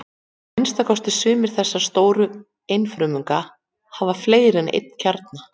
Að minnsta kosti sumir þessara stóru einfrumunga hafa fleiri en einn kjarna.